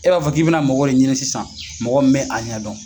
E b'a fɔ k'i bɛ na mɔgɔ de ɲini sisan mɔgɔ bɛ' a ɲɛ dɔn.